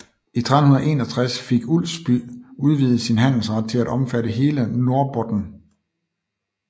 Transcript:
I 1361 fik Ulfsby udvidet sin handelsret til at omfatte hele Norrbotten